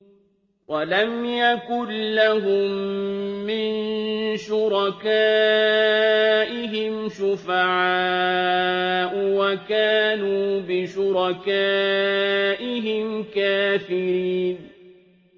وَلَمْ يَكُن لَّهُم مِّن شُرَكَائِهِمْ شُفَعَاءُ وَكَانُوا بِشُرَكَائِهِمْ كَافِرِينَ